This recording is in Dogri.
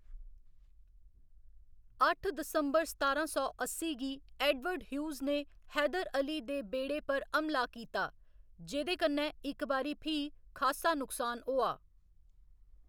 अट्ठ दिसंबर सतारां सौ अस्सी गी, एडवर्ड ह्यूस ने हैदर अली दे बेड़े पर हमला कीता जेह्कन्नै इक बारी फ्ही खासा नुकसान होआ।